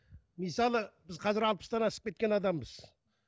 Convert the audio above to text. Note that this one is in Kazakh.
мысалы біз қазір алпыстан асып кеткен адамбыз